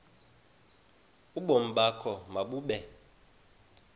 ubomi bakho mabube